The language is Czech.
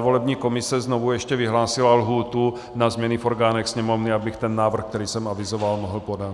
volební komise znovu ještě vyhlásila lhůtu na změny v orgánech Sněmovny, abych ten návrh, který jsem avizoval, mohl podat.